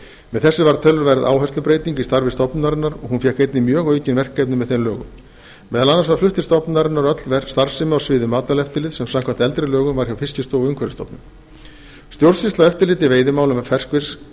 með þessu varð töluverð áherslubreyting í starfi stofnunarinnar og fékk hún einnig mjög aukin verkefni með þeim lögum meðal annars var flutt til stofnunarinnar öll starfsemi á sviði matvælaeftirlits sem samkvæmt eldri lögum var hjá fiskistofu og umhverfisstofnun stjórnsýsla og eftirlit í veiðimálum